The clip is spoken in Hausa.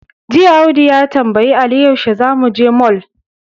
Jiya, Abdu ya tambayi Ali yaushe za su je mol.